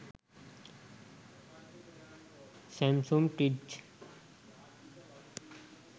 samsung fridge